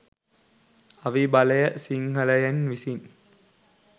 අවි බලය සිංහලයන් විසින්